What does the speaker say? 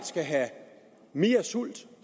skal have mere sult